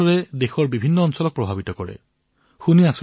আপুনি আমাৰ ওপৰত আপোনাৰ কৃপাবৰ্ষণ কৰি থাকক